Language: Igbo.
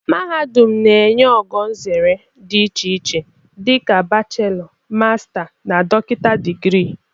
Mahadum na-enye ogo nzere dị iche iche dị ka bachelọ, masta na dọkịta digirii.